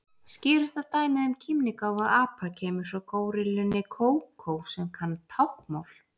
Skýrasta dæmið um kímnigáfu apa kemur frá górillunni Kókó sem kann táknmál.